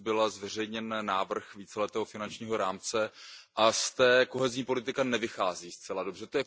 Dnes byl zveřejněn návrh víceletého finančního rámce a z toho kohezní politika nevychází zcela dobře.